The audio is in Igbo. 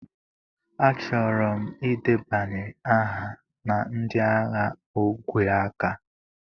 Achọrọ m ịdebanye aha na ndị agha ogwe aka.